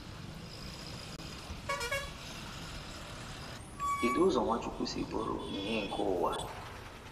Kedu ụzọ Nwachukwu si bụrụ “ ìhè nke ụwa ”?